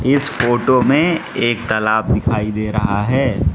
इस फोटो में एक तालाब दिखाई दे रहा है।